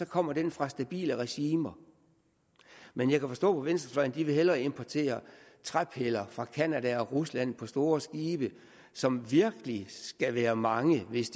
kommer den fra stabile regimer men jeg kan forstå på venstrefløjen at de hellere vil importere træpiller fra canada og rusland på store skibe som virkelig skal være mange hvis